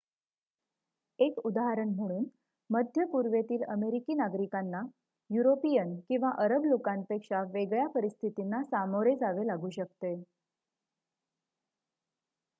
एक उदाहरण म्हणून मध्य पूर्वेतील अमेरिकी नागरिकांना युरोपिअन किंवा अरब लोकांपेक्षा वेगळ्या परिस्थितींना सामोरे जावे लागू शकते